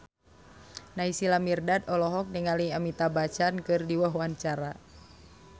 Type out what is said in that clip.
Naysila Mirdad olohok ningali Amitabh Bachchan keur diwawancara